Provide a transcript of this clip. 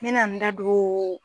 Minna an da don